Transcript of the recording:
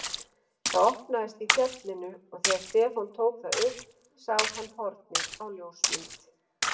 Það opnaðist í fallinu og þegar Stefán tók það upp sá hann hornið á ljósmynd.